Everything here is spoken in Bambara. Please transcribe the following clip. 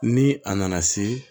Ni a nana se